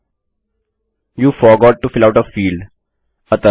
you forgot to fill out a fieldआप field को भरना भूल गए हैं